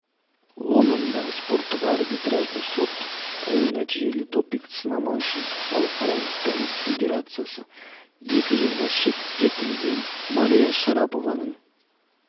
лондондағы спорттық арбитражды сот оң нәтижелі допинг-сынама үшін халықаралық тенис федерациясы екі жылға шеттетілген мария шарапованың